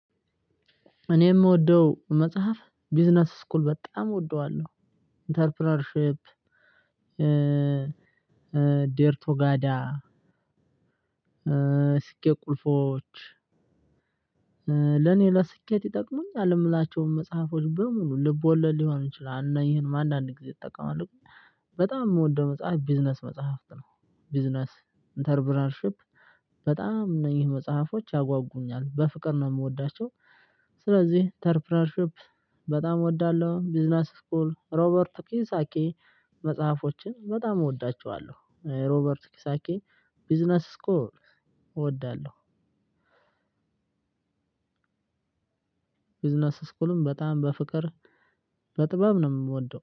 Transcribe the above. እኔ የምወደው መጽሐፍ ቢዝነስ ስኩል በጣም እወደዋለሁ ኢንተርፕረነርሺፕ። ዴርቶጋዳ ስኬት ቁልፎች ለኔ ለስኬት ይጠቅሙኛል የምላቸው መጽሐፎች በሙሉ ልብ ወለድ ሊሆን ይችላል እና ይህንም አንዳንዴ ጊዜ እጠቀማለሁ። በጣም የምወደው መጽሐፍ ቢዝነስ መጽሐፍት ነው ቢዝነስ ኢንተርፕረነርሺፕ በጣም ነው ይህ መጽሐፎች ያጓጉኛል በፍቅር ነው የምወዳቸው። ስለዚህ ኢንተርፕረነርሺፕ በጣም እወዳለሁ ቢዝነስ ስኩል ሮበርት ኪዮሳኪ መጽሐፎችን በጣም እወዳቸዋለሁ ሮበርት ኪዮሳኪ ቢዝነስ ስኮል እወዳለሁ። ቢዝነስ ስኩልም በጣም በፍቅር በጥበብ ነው የምወደው